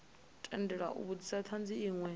tendelwa u vhudzisa thanzi inwe